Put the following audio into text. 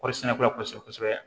Kɔɔri sɛnɛla kosɛbɛ kosɛbɛ